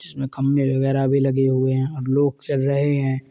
जिसमे खम्बे वगेरा भी लगे हुए है और लोग चल रहे हैं।